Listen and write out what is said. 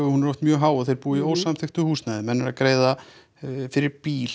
hún er oft mjög há og þeir búa í ósamþykktu húsnæði menn eru að greiða fyrir bíl